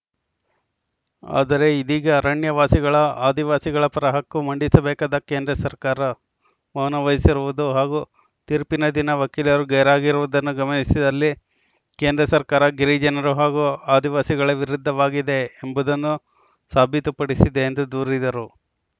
ಆದರೆ ಇದೀಗ ಅರಣ್ಯ ವಾಸಿಗಳ ಆದಿವಾಸಿಗಳ ಪರ ಹಕ್ಕು ಮಂಡಿಸಬೇಕಾದ ಕೇಂದ್ರ ಸರ್ಕಾರ ಮೌನವಹಿಸಿರುವುದು ಹಾಗೂ ತೀರ್ಪಿನ ದಿನ ವಕೀಲರು ಗೈರಾಗಿರುವುದನ್ನು ಗಮನಿಸಿದಲ್ಲಿ ಕೇಂದ್ರ ಸರ್ಕಾರ ಗಿರಿಜನರು ಹಾಗೂ ಆದಿವಾಸಿಗಳ ವಿರುದ್ಧವಾಗಿದೆ ಎಂಬುದನ್ನು ಸಾಬೀತುಪಡಿಸಿದೆ ಎಂದು ದೂರಿದರು